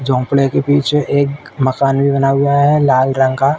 झोंपड़े के पीछे एक मकान भी बना हुआ है लाल रंग का।